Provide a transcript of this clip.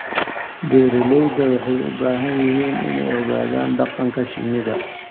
Beeraleydu waxay u baahan yihiin inay ogaadaan dhaqanka shinnida.